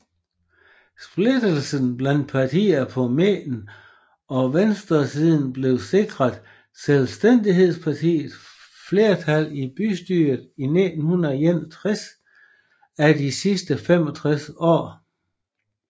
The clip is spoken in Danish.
Splittelsen blandt partiene på midten og venstresiden havde sikret Selvstændighedspartiet flertal i bystyret i 61 af de sidste 65 år